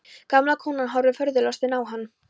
Gamla konan horfir furðulostin á hann.